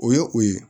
O ye o ye